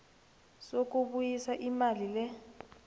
sokubuyisa imali le